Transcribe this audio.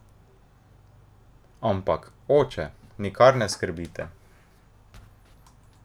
Ampak, oče, nikar ne skrbite!